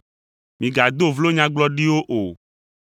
Migado vlo nyagblɔɖiwo o.